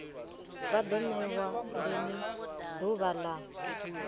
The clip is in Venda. vha ḓo ṋewa ḓuvha ḽa